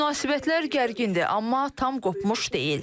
Münasibətlər gərgindir, amma tam qopmuş deyil.